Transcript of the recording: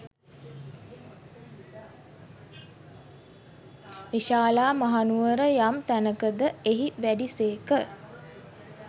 විශාලා මහනුවර යම් තැනක ද එහි වැඩි සේක.